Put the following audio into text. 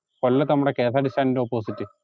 കൊല്ലത്ത്‌ നമ്മുടെ K S R T C stand ൻറെ opposite